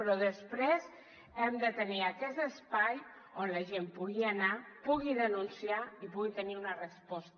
però després hem de tenir aquest espai on la gent pugui anar pugui denunciar i pugui tenir una resposta